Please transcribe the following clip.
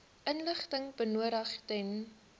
inligting benodig ten